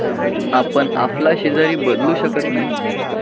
आपण आफला शेजारी बदलू शकत नाही.